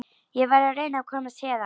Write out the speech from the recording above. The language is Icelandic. Ég verð að reyna að komast héðan.